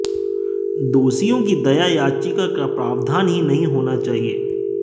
दोषियों की दया याचिका का प्रावधान ही नहीं होना चाहिए